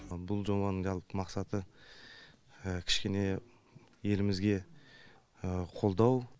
бұл жобаның жалпы мақсаты кішкене елімізге қолдау